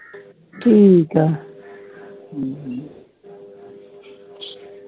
ਠੀਕ ਆ